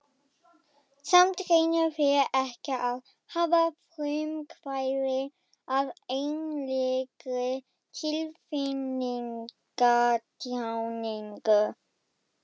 Samt reyna þeir ekki að hafa frumkvæðið að einlægri tilfinningatjáningu.